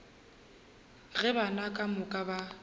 ge bana ka moka ba